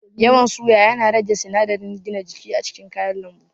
Yawan suya yana rage sinadiran gina jiki a cikin kayan lambu